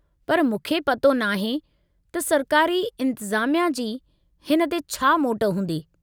पर मूंखे पतो न आहे त सरकारी इंतिज़ामिया जी हिन ते छा मोट हूंदी।